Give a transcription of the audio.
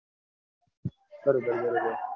બરોબર બરોબર